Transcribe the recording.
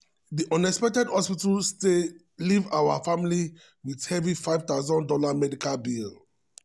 di unexpected hospital stay leave our family with heavy five thousand dollars medical bill.